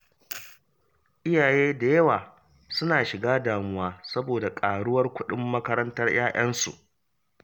Iyaye da yawa suna shiga damuwa saboda ƙaruwar kuɗin makarantar 'ya'yansu